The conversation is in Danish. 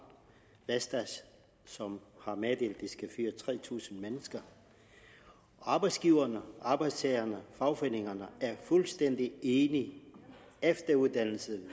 vestas som har meddelt at de skal fyre tre tusind mennesker arbejdsgiverne arbejdstagerne og fagforeningerne er fuldstændig enige efteruddannelse